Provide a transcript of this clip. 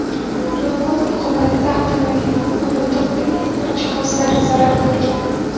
Yong‘in oqibatida avtomobilning o‘rindiq va elektr jihozlari zarar ko‘rgan.